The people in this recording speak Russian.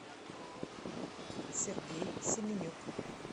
сергей семенюк